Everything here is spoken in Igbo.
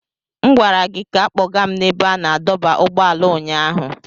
M gwara gị ka kpọga m n'ebe a na-adọba ụgbọala ụnyaahụ.